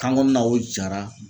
kan kɔɔna o jara